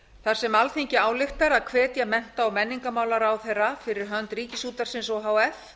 þar sem alþingi ályktar að hvetja mennta og menningarmálaráðherra fyrir hönd ríkisútvarpsins o h f